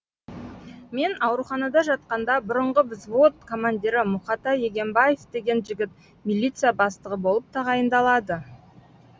мен ауруханада жатқанда бұрынғы взвод командирі мұқатай егенбаев деген жігіт милиция бастығы болып тағайындалады